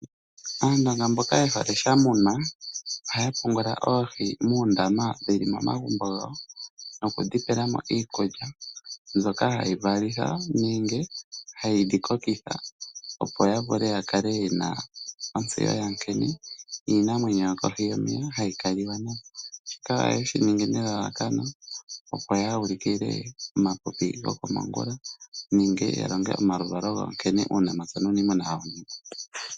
Aandonga mboka yehole shamunwa ohaya pungula oohi muundama wuli momagumbo gawo nokudhi tulila mo iikulya, ndyoka hayi valitha nenge hayidhi kokitha, opo yakale yena ontseyo nkene iinamwenyo yokohi yomeya hayi kaliwa nayo. Ohayeshi ningi nelalakano opo ya ulikile epipi lyokomongula nenge yalonge omaluvalo gawo nkene uunamapya nuuniimuna hawu ningwa.